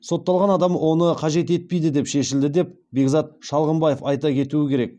сотталған адам оны қажет етпейді деп шешілді деп бекзат шалғымбаев айта кетуі керек